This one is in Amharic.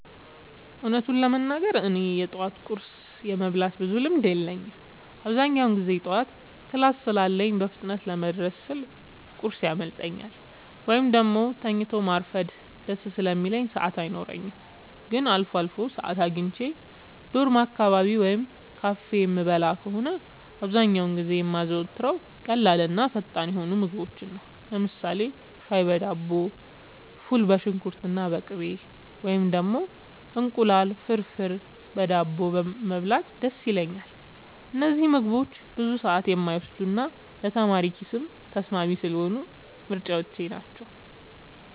እውነቱን ለመናገር እኔ የጠዋት ቁርስ የመብላት ብዙም ልምድ የለኝም። አብዛኛውን ጊዜ ጠዋት ክላስ ስላለኝ በፍጥነት ለመድረስ ስል ቁርስ ያመልጠኛል፤ ወይም ደግሞ ተኝቶ ማርፈድ ደስ ስለሚለኝ ሰዓት አይኖረኝም። ግን አልፎ አልፎ ሰዓት አግኝቼ ዶርም አካባቢ ወይም ካፌ የምበላ ከሆነ፣ አብዛኛውን ጊዜ የማዘወትረው ቀላልና ፈጣን የሆኑ ምግቦችን ነው። ለምሳሌ ሻይ በዳቦ፣ ፉል በሽንኩርትና በቅቤ፣ ወይም ደግሞ እንቁላል ፍርፍር በዳቦ መብላት ደስ ይለኛል። እነዚህ ምግቦች ብዙ ሰዓት የማይወስዱና ለተማሪ ኪስም ተስማሚ ስለሆኑ ምርጫዎቼ ናቸው።